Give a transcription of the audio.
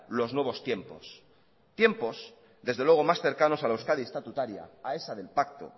los nuevos tiempos tiempos desde luego más cercanos a la euskadi estatutaria a esa del pacto